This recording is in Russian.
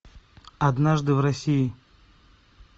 однажды в россии